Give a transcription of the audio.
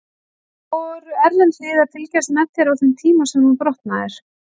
Voru erlend lið að fylgjast með þér á þeim tíma sem þú brotnaðir?